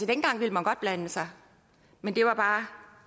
dengang ville man godt blande sig men det var bare